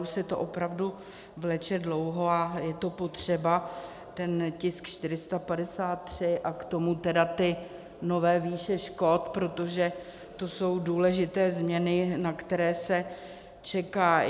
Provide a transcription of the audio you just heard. Už se to opravdu vleče dlouho a je to potřeba, ten tisk 453, a k tomu tedy ty nové výše škod, protože to jsou důležité změny, na které se čeká.